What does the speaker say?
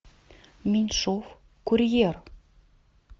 меньшов курьер